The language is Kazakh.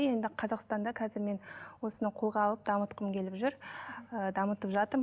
енді қазақстанда қазір мен осыны қолға алып дамытқым келіп жүр ы дамытып жатырмын